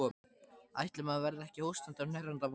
Ætli maður verði ekki hóstandi og hnerrandi á morgun.